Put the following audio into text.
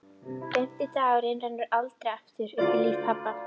Fimmti dagurinn rennur aldrei aftur upp í lífi pabba.